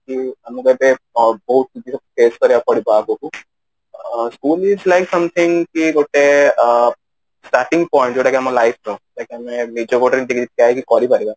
କି ଆମକୁ ଏବେ ବହୁତ ଜିନିଷ face କରିବାକୁ ପଡିବ ଆଗକୁ ଅ school life ଏମିତି ଗୋଟେ ଅ starting point ଯୋଉଟା କି ଆମ life ର ନିଜ ଗୋଡରେ ନିଜେ ଠିଆ ହେଇକି କରି ପାରିବା